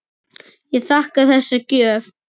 Ég þakka þessa gjöf.